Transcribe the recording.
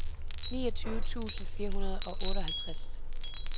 niogtyve tusind fire hundrede og otteoghalvtreds